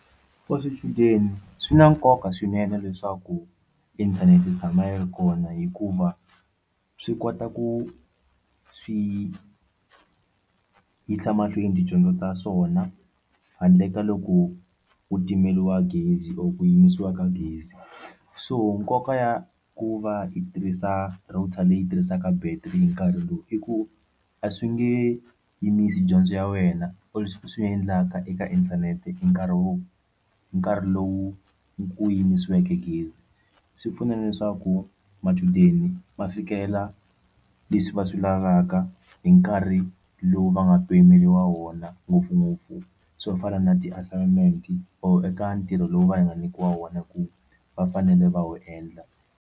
For swichudeni swi na nkoka swinene leswaku inthanete yi tshama yi ri kona hikuva swi kota ku swi yisa emahlweni tidyondzo ta swona handle ka loko u timeliwa gezi or ku yimisiwa ka gezi so nkoka ya ku va yi tirhisa router leyi tirhisaka battery hi nkarhi lowu i ku a swi nge yimisi dyondzo ya wena or leswi swi endlaka eka inthanete i nkarhi wo nkarhi lowu ku yimisiweke gezi swi pfuna leswaku machudeni va fikela leswi va swi lavaka hi nkarhi lowu va nga pimeriwa wona ngopfungopfu swo fana na ti-assignment or eka ntirho lowu va nga nyikiwa wona hi ku va fanele va wu endla.